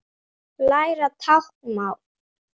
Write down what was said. Læra táknmál